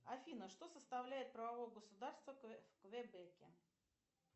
афина что составляет правовое государство в квебеке